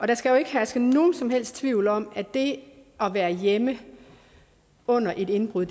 der skal jo ikke herske nogen som helst tvivl om at det at være hjemme under et indbrud